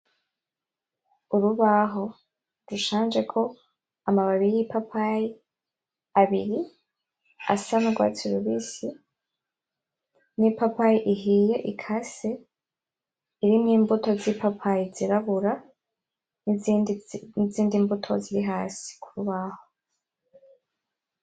Urubaho rushanjeko amababi y'ipapayi abiri asa n'urwatsi rubisi, n'ipapayi ihiye ikase irimwo imbuto z'ipapayi zirabura, nizindi mbuto ziri hasi kurubaho.